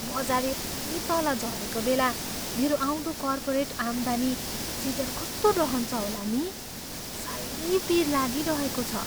बजार यति तल झरेको बेला मेरो आउँदो कर्पोरेट आम्दानी सिजन कस्तो रहन्छ होला नि? साह्रै पिर लागिरहेको छ।